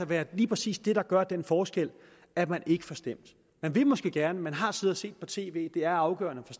være lige præcis det der gør den forskel at man ikke får stemt man vil måske gerne man har siddet og set på tv at det er afgørende at